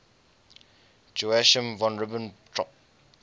joachim von ribbentrop